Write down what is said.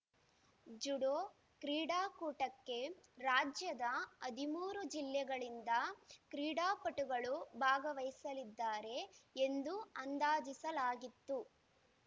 judo ಕ್ರೀಡಾಕೂಟಕ್ಕೆ ರಾಜ್ಯದ ಹದಿಮೂರು ಜಿಲ್ಲೆಗಳಿಂದ ಕ್ರೀಡಾಪಟುಗಳು ಭಾಗವಹಿಸಲಿದ್ದಾರೆ ಎಂದು ಅಂದಾಜಿಸಲಾಗಿತ್ತು